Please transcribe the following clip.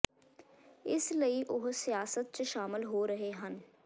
ਇਸ ਲਈ ਉਹ ਸਿਆਸਤ ਚ ਸ਼ਾਮਲ ਹੋ ਰਹੇ ਹਨ